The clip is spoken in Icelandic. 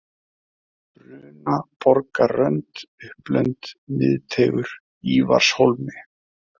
Brunaborgarrönd, Upplönd, Miðteigur, Ívarshólmi